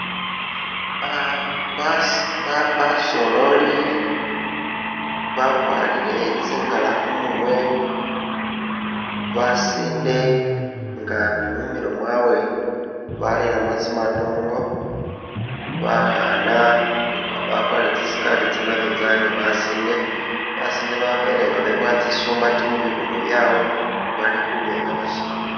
Basololi bakwarire tsi ngara khumurwe basinde nga ni mumilo mwawe bareremo tsi matongo bakhana bakwarire tsi skirt tsa nabinzali ni basinde basinde babele nga bebowa tsisumbati mubibuno byawe bali khuba nga bashina.